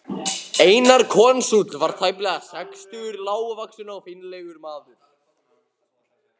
Einar konsúll var tæplega sextugur, lágvaxinn og fínlegur maður.